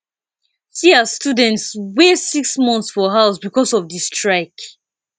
see as students waste six months for house because of di strike